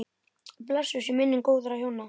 Blessuð sé minning góðra hjóna.